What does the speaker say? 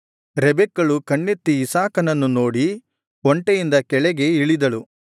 ರೆಬೆಕ್ಕಳು ಕಣ್ಣೆತ್ತಿ ಇಸಾಕನನ್ನು ನೋಡಿ ಒಂಟೆಯಿಂದ ಕೆಳಗೆ ಇಳಿದಳು